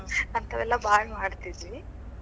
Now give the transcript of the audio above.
ಅಂತಾವೆಲ್ಲಾ ಭಾಳ್ ಮಾಡ್ತಿದ್ವಿ.